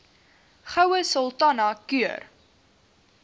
goue sultana keur